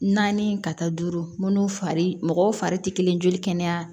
Naani ka taa duuru munnu fari mɔgɔw fari ti kelen joli kɛnɛya